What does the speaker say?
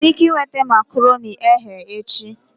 Enwere m ike ị nweta makaronii eghe echi?